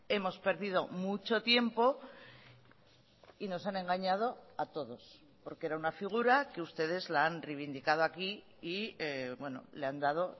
hemos perdido mucho tiempo y nos han engañado a todos porque era una figura que ustedes la han reivindicado aquí y le han dado